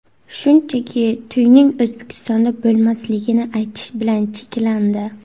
Shunchaki, to‘yning O‘zbekistonda bo‘lmasligini aytish bilan cheklandi.